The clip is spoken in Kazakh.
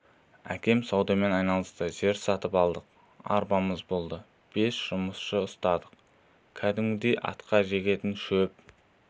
әкем саудамен айналысты жер сатып алдық арбамыз болды бес жұмысшы ұстадық кәдімгідей атқа жегетін шөп